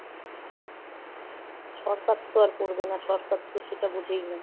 সরকার তো আর পরবে না, সরকার তো সেটা বুঝেই না।